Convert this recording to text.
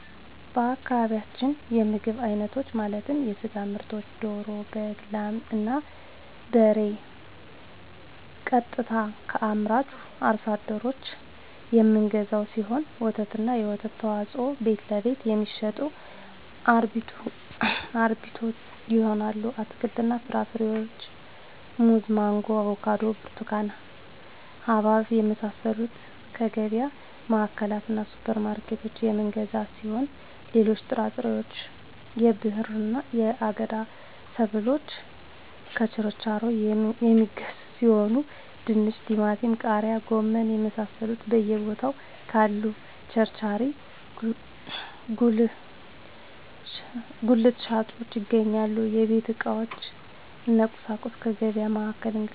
በአካባቢያችን የምግብ አይነቶች ማለትም የስጋ ምርቶችን ደሮ በግ ላም እና በሬ ቀጥታ ከአምራቹ አርሶ አደሮች የምንገዛው ሲሆን ወተትና የወተት ተዋፅኦዎችን ቤትለቤት የሚሸጡ አርቢዎች ይሆናል አትክልትና ፍራፍሬዎችን ሙዝ ማንጎ አቮካዶ ብርቱካን ሀባብ የመሳሰሉትከየገቢያ ማዕከላትእና ሱፐር ማርኬቶች የምንገዛ ሲሆን ሌሎች ጥራጥሬዎች የብዕርና የአገዳ ሰብሎችን ከቸርቻሪዎች የሚገዙ ሲሆን ድንች ቲማቲም ቃሪያ ጎመን የመሳሰሉት በየ ቦታው ካሉ ቸርቻሪ ጉልት ሻጮች ይገኛል የቤት ዕቃዎች እነ ቁሳቁሶች ከገቢያ ማዕከላት እንገዛለን